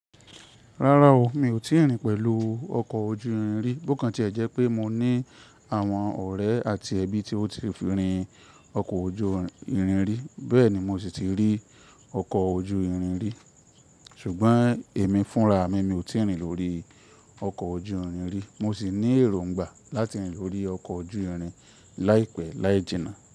Rárá o, mi ò tíì rìn pẹ̀lú ọkọ̀ ojú irin rí. Bókan tí ẹ̀ jẹ́ pé mo ní àwọn ọ̀rẹ́ àti ẹbí tí ó ti fi rìn ọkọ̀ ojú irin rí, bẹ́ẹ̀ ni mo sì ti rí ọkọ̀ ojú irin rí. Ṣùgbọ́n èmi fúnra mi, mi ò tíì rìn lórí ọkọ̀ ojú irin rí. Mo sì ní èròngbà láti rìn lórí ọkọ̀ ojú irin láìpẹ́ láì jìnnà.